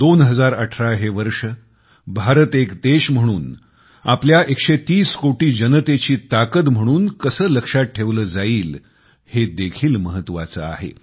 2018 हे वर्ष भारत एक देश म्हणून आपल्या एकशे तीस कोटी जनतेची ताकद म्हणून कसं लक्षात ठेवलं जाईल हे देखील महत्वाचे आहे